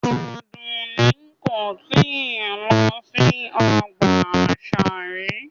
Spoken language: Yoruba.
Adunni ko tii lo si ọgba asa ri